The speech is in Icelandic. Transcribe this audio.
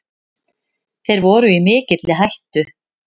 Þeir voru í mikilli hættu.